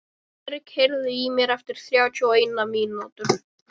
Diðrik, heyrðu í mér eftir þrjátíu og eina mínútur.